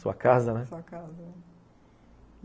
Sua casa, né? Sua casa.